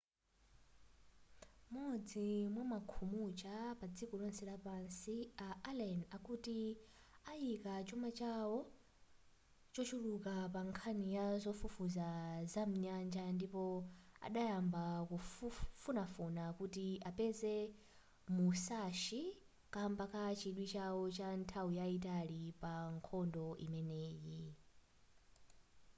m'modzi mwamakhumucha padziko lonse lapansi a allen akuti ayika chuma chawo chochuluka pa nkhani yazofufuza zamnyanja ndipo adayamba kufunafuna kuti apeze musashi kamba ka chidwi chawo cha nthawi yaitali pa nkhondo imeneyi